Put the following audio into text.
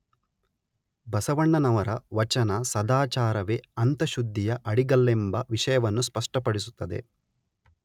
ಬಸವಣ್ಣನವರ ವಚನ ಸದಾಚಾರವೇ ಅಂತಃಶುದ್ಧಿಯ ಅಡಿಗಲ್ಲೆಂಬ ವಿಷಯವನ್ನು ಸ್ಪಷ್ಟಪಡಿಸುತ್ತದೆ